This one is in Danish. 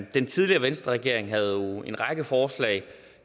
den tidligere venstreregering havde en række forslag